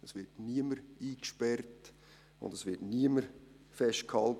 Es wird niemand eingesperrt, und es wird niemand festgehalten.